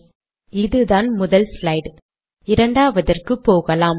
சரி இதுதான் முதல் ஸ்லைட் இரண்டாவதற்கு போகலாம்